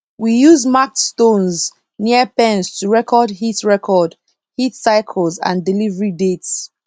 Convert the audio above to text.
we use marked stones near pens to record heat record heat cycles and delivery dates